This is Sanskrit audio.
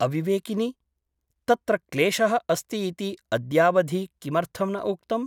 अविवेकिनि । तत्र क्लेशः अस्ति इति अद्यावधि किमर्थं न उक्तम् ?